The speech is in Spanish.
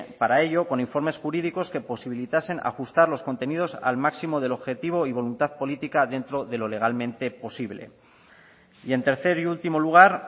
para ello con informes jurídicos que posibilitasen ajustar los contenidos al máximo del objetivo y voluntad política dentro de lo legalmente posible y en tercer y último lugar